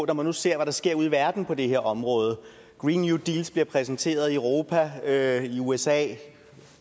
når man nu ser hvad der sker ude i verden på det her område green new deal bliver præsenteret i europa i usa i